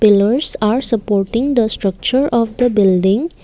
pillars are supporting the structure of the building.